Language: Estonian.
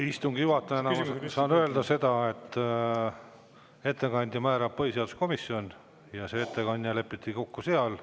Istungi juhatajana ma saan öelda seda, et ettekandja määrab põhiseaduskomisjon ja see ettekandja lepiti kokku seal.